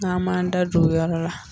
N k'an b'a man da don o yɔrɔ la